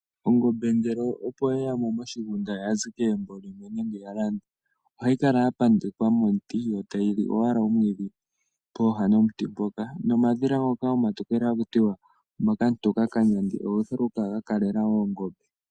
Ongombe ngele opo yeyamo moshigunda yazi kegumbo limwe nenge opo ya landwa ohayi kala ya pandekwa momuti yo tayili owala omwiidhi pooha dhomuti mpoka nomadhila ngoka omatokele hakutiwa omakamutoka kanyandi oga uthilwa okukala ga kalela ongombe.